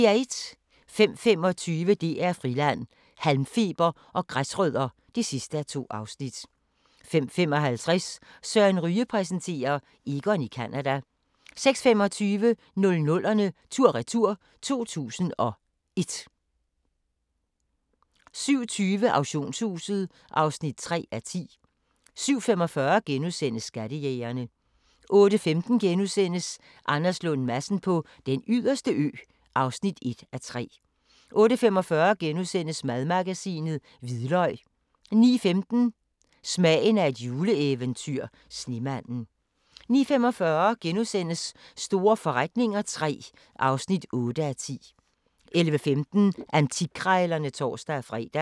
05:25: DR Friland: Halmfeber og græsrødder (2:2) 05:55: Søren Ryge præsenterer: Egon i Canada 06:25: 00'erne tur-retur: 2001 07:20: Auktionshuset (3:10) 07:45: Skattejægerne * 08:15: Anders Lund Madsen på Den Yderste Ø (1:3)* 08:45: Madmagasinet: Hvidløg * 09:15: Smagen af et juleeventyr – Snemanden 09:45: Store forretninger III (8:10)* 11:15: Antikkrejlerne (tor-fre)